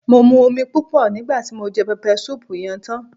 Mo mu omi púpò nígbàti mo je pepper soup yen tan